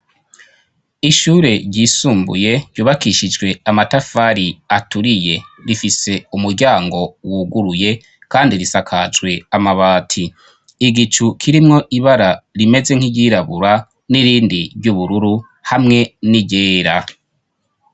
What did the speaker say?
Ishure ryisumbuye ryubakishijwe amatafari aturiye rifise umuryango wuguruye kandi risakajwe amabati, igicu kirimwo ibara rimeze nk'iryirabura n'irindi by'ubururu hamwe n'iryera.